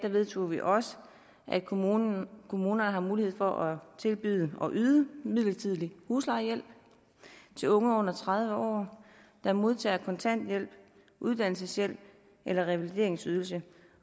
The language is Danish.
vedtog vi også at kommunerne kommunerne har mulighed for at tilbyde at yde en midlertidig huslejehjælp til unge under tredive år der modtager kontanthjælp uddannelseshjælp eller revalideringsydelse